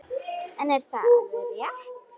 En er það alveg rétt?